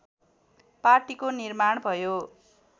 पार्टीको निर्माण भयो